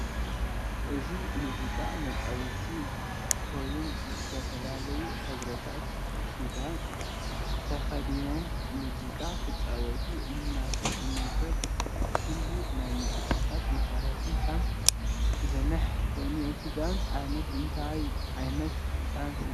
እዚናይ መዝቃ መፃወቲ ኮይንዝተፈላላዩ ሕብሪታት ኪዳን ተኪዲናም መዚቃ ክጫወቱ እንትንዕዘብ ኩሉ ናይ መዝቃታት መሰርሕታት ከም ዝንህ ኮይኑ እቲ ዳንሲ ዓይነት እንታይ ዓይነት ዳንሲ እዩ?